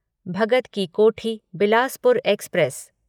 Bhagat ki Kothi Bilaspur express